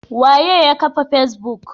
Waye yakafa facebook?